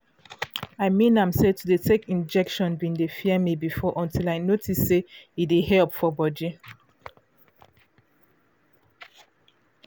i mean am say to dey take injection been dey fear me before until i notice say e dey help for body